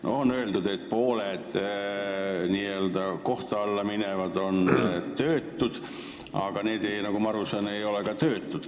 No on öeldud, et pooled kohtu alla minejad on töötud, aga need noored, nagu ma aru saan, ei ole töötud.